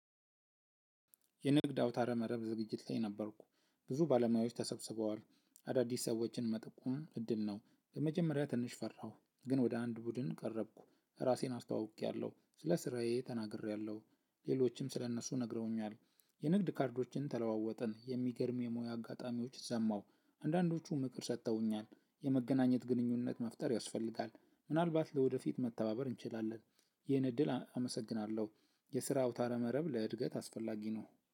የንግድ አውታረ መረብ ዝግጅት ላይ ነበርኩ ብዙ ባለሙያዎች ተሰብስበዋል አዳዲስ ሰዎችን መጠቆም እድል ነው። ለመጀመሪያ ትንሽ ፈራሁ ግን ወደ አንድ ቡድን ቀረብኩ። ራሴን አስተዋውቄያለሁ። ስለ ስራዬ ተናግሬያለሁ። ሌሎችም ስለእነሱ ነግረውኛል። የንግድ ካርዶችን ተለዋወጥን። የሚገርም የሙያ አጋጣሚዎች ሰማሁ። አንዳንዶቹ ምክር ሰጥተውኛል። የመገናኘት ግንኙነት መፍጠር ያስፈልጋል። ምናልባት ለወደፊት መተባበር እንችላለን። ይህን እድል አመሰግናለሁ። የስራ አውታረ መረብ ለእድገት አስፈላጊ ነው።